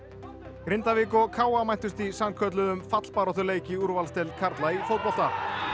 Grindavík og KA mættust í sannkölluðum fallbaráttuleik í úrvalsdeild karla í fótbolta